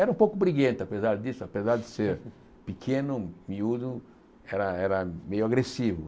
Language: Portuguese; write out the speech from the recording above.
Era um pouco briguento, apesar disso, apesar de ser pequeno, miúdo, era era meio agressivo.